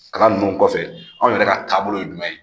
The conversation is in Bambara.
Kalan nunnu kɔfɛ anw yɛrɛ ka taabolo ye jumɛn ye?